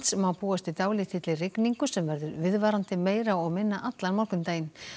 má búast við dálítill rigningu sem verður viðvarandi meira og minna allan morgundaginn